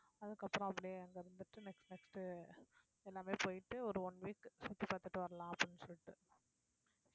அதுக்கப்புறம் அப்படியே அங்க இருந்துட்டு next next உ எல்லாமே போயிட்டு ஒரு one week சுத்தி பாத்துட்டு வரலாம் அப்படின்னு சொல்லிட்டு